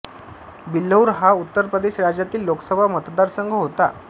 बिल्हौर हा उत्तर प्रदेश राज्यातील लोकसभा मतदारसंघ होता